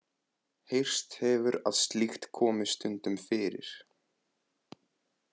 Heyrst hefur að slíkt komi stundum fyrir.